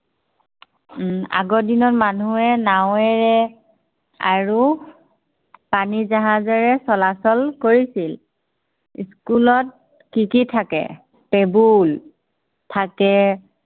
উম আগৰ দিনত মানুহে নাৱেৰে, আৰু পানী জাহাজেৰে চলাচল কৰিছিল। school ত কি কি থাকে। table থাকে